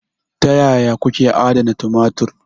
Ta yaya kuke adana tumatir?